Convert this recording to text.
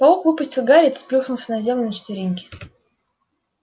паук выпустил гарри и тот плюхнулся на землю на четвереньки